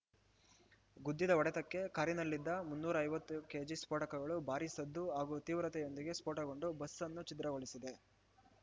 ಗುದ್ದಿದ ಹೊಡೆತಕ್ಕೆ ಕಾರಿನಲ್ಲಿದ್ದ ಮುನ್ನೂರ ಐವತ್ತು ಕೆಜಿ ಸ್ಫೋಟಕಗಳು ಭಾರೀ ಸದ್ದು ಹಾಗೂ ತೀವ್ರತೆಯೊಂದಿಗೆ ಸ್ಫೋಟಗೊಂಡು ಬಸ್‌ ಅನ್ನು ಛಿದ್ರಗೊಳಿಸಿದೆ